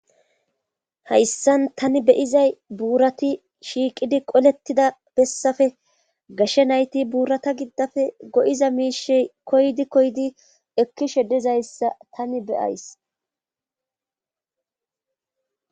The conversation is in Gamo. hayssan tani beyizay buurati shiiqidi qolettida bessafe gashe nayti buurata giddafe go7iza miishey koydi koydi ekkishe dizayssa tani be,ays